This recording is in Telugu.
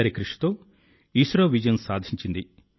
అందరి కృషితో విజయం కూడా సాధించింది